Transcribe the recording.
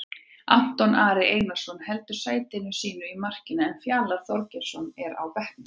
Anton Ari Einarsson heldur sæti sínu í markinu en Fjalar Þorgeirsson er á bekknum.